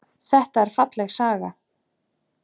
Þetta er falleg saga.